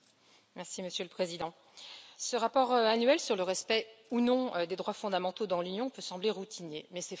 Monsieur le Président, ce rapport annuel sur le respect, ou non, des droits fondamentaux dans l'Union peut sembler routinier, mais c'est faux.